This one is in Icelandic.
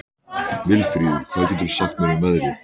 Vilfríður, hvað geturðu sagt mér um veðrið?